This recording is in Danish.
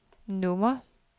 nummer